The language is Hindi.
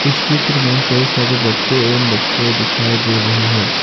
इस चित्र में कई सारे बच्चे एवं बच्चे दिखाई दे रही है।